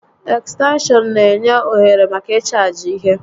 Ekstenshọn n'enye ohere màkà ịchaajị ihe